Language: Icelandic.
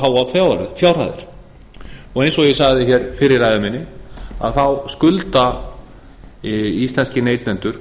háar fjárhæðir eins og ég sagði fyrr í ræðu minni þá skulda íslenskir neytendur